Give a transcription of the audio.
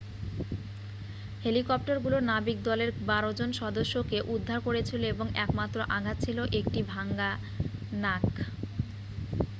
হেলিকপ্টারগুলো নাবিকদলের বারো জন সদস্যকে উদ্ধার করেছিল এবং একমাত্র আঘাত ছিল একটি ভাঙ্গা নাক